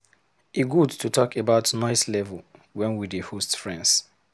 E good to talk about noise level wen we dey host friends.